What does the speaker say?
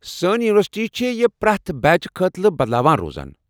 سٲنۍ یونیورسٹی چھےٚ یہِ پرٛٮ۪تھ بیچ خٲطرٕ بدلاوان روزان ۔